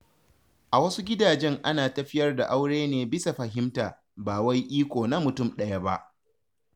A wasu gidajen ana tafiyar da aure ne bisa fahimta, ba wai iko na mutum ɗaya ba.